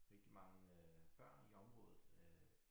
Rigtig mange øh børn i området øh